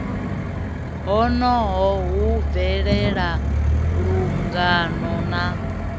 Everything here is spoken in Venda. honoho hu bvelela lungana na